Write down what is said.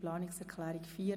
Planungserklärung EP